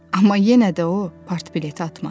Amma yenə də o, partbileti atmadı.